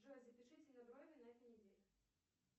джой запишите на брови на этой неделе